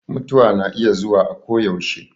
Mutuwa na iya zuwa a ko yaushe